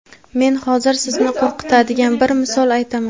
Men hozir sizni qo‘rqitadigan bir misol aytaman.